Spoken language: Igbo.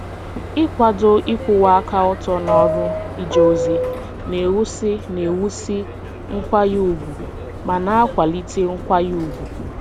Ịkwado ịkwụwa aka ọtọ n'ọrụ ije ozi na-ewusi na-ewusi nkwanye ùgwù ma na-akwalite nkwanye ùgwù.